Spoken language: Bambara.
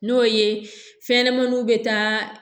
N'o ye fɛn ɲɛnɛmaninw bɛ taa